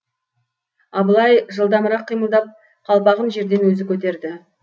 абылай жылдамырақ қимылдап қалпағын жерден өзі көтерді